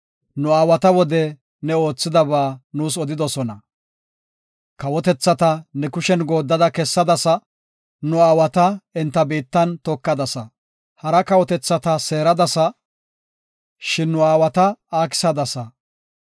Kawotethata ne kushen goodda kessadasa; nu aawata enta biittan tokadasa. Hara kawotethata seeradasa; shin nu aawata aakisadasa.